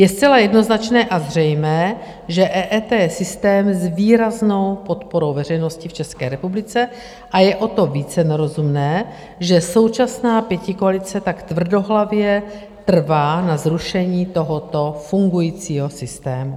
Je zcela jednoznačné a zřejmé, že EET je systém s výraznou podporou veřejnosti v České republice, a je o to více nerozumné, že současná pětikoalice tak tvrdohlavě trvá na zrušení tohoto fungujícího systému.